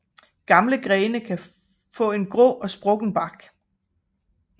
Gamle grene kan få en grå og sprukken bark